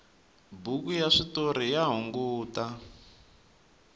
buku ya switoriya hungata